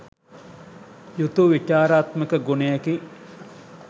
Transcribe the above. යුතු විචාරාත්මක ගුණයකි.